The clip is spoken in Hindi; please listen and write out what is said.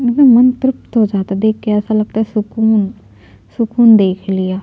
एकदम मन तृप्त हो जाता है देख के ऐसा लगता है सुकून सुकून देख लिया --